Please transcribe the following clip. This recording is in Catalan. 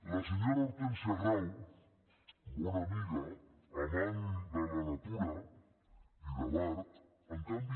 la senyora hortènsia grau bona amiga amant de la natura i de l’art en canvi